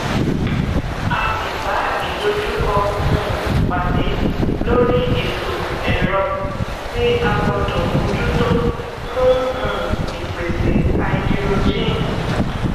a le bá ìdojúkọ um pàdé lórí ètò ẹrọ tí a gbọdọ mójútó fún um ìpèsè háídírójìn